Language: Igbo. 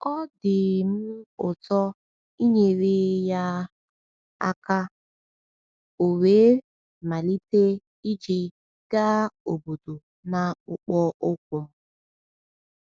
Ọ dị um m ụtọ inyere ya um aka, ọ̀ we malite ije gaa obodo n’akpụkpọ ụkwụ m.